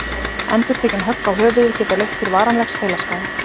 endurtekin högg á höfuðið geta leitt til varanlegs heilaskaða